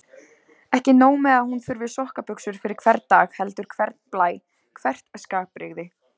Ekki nóg með að hún þurfi sokkabuxur fyrir hvern dag heldur hvern blæ, hvert skapbrigði.